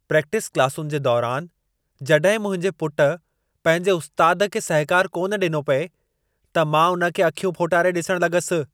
Practice क्लासुनि जे दौरान जड॒हिं मुंहिंजे पुटु पंहिंजे उस्तादु खे सहिकार कान डि॒नो पिए त मां हुन खे अखियूं फोटारे डि॒सणु लग॒सि।